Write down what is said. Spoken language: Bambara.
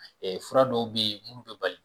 fura dɔw be yen, munnu bɛ bali